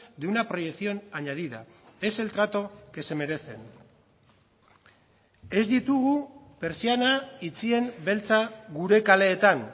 de una proyección añadida es el trato que se merecen ez ditugu pertsiana itxien beltza gure kaleetan